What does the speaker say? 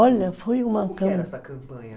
Olha, foi uma... O que era essa campanha?